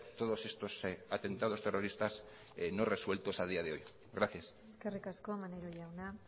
todos estos atentados terroristas no resueltos a día de hoy gracias eskerrik asko maneiro jauna